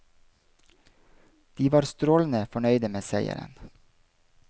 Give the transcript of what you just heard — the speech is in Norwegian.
De var strålende fornøyde med seieren.